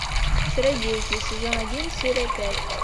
чародейки сезон один серия пять